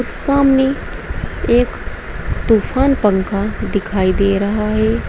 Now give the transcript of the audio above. सामने एक तूफान पंखा दिखाई दे रहा है।